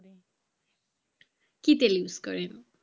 কি তেল use করেন?